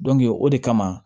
o de kama